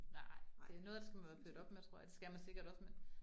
Nej det noget af det skal man være født op med tror jeg, det skal man sikkert også med